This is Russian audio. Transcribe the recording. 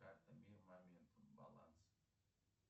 карта мир момент баланс